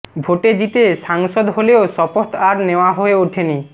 ভোটে জিতে সাংসদ হলেও শপথ আর নেওয়া হয়ে ওঠেনি